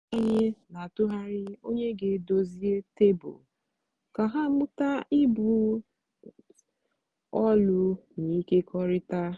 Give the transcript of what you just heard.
ụmụ anyị n'atụgharị onye ga edozie tebụl ka ha mụta ibu ọlụ na ịkekọrịta.